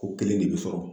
Ko kelen de bɛ sɔrɔ